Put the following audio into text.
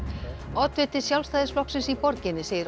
oddviti Sjálfstæðisflokksins í borginni segir